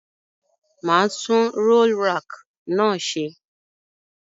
Màá tun roll rack náà se